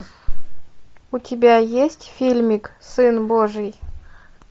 у тебя есть фильмик сын божий